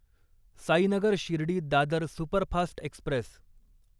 Sainagar Shirdi Dadar superfast Express